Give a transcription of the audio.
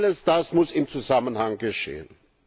Alles das muss im Zusammenhang geschehen.